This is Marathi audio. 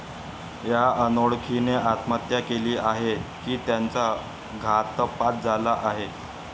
या अनोळखीने आत्महत्या केली आहे की त्याचा घातपात झाला आहे?